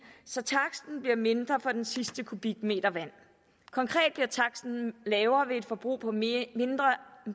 så taksten bliver mindre for den sidste kubikmeter vand konkret bliver taksten lavere ved et forbrug på mere